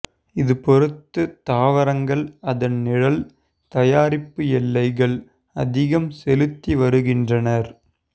இது பொறுத்து தாவரங்கள் அதன் நிழல் தயாரிப்பு எல்லைகள் ஆதிக்கம் செலுத்தி வருகின்றனர்